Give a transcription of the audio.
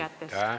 Aitäh!